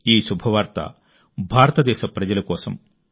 ఈ శుభవార్త భారతదేశ ప్రజల కోసం